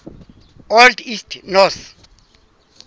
old east norse